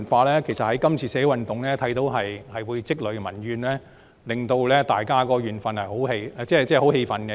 其實，從今次的社會運動看到，何以積累的民怨，會令大家感到十分氣憤。